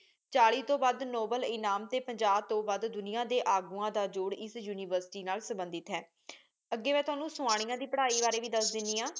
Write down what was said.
ਚਾਲੀ ਤੋ ਵਧ ਨੋਬਲੇ ਇਨਾਮ ਟੀ ਪਜਾਹ ਤੋ ਵਧ ਦੁਨਿਯਾ ਡੀ ਅਖੁਵਾ ਦਾ ਜੋਰਰ ਏਸ ਉਨਿਵੇਰ੍ਸਿਟੀ ਨਾਲ ਸਬੰਦਿਦ ਹੈ ਅੱਗੀ ਮੇਂ ਤੁਹਾਨੂ ਸਵਾਨਿਯਾ ਦੀ ਪਢ਼ਾਈ ਬਰੀ ਵੀ ਦਸ ਦੇਣੀ ਆਂ